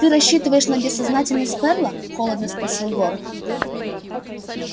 ты рассчитываешь на безсознательность ферла холодно спросил горов